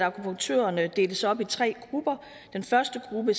akupunktørerne deles op i tre grupper den første gruppe